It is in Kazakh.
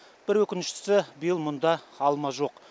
бір өкініштісі биыл мұнда алма жоқ